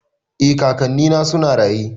Eh kakanni na suna raye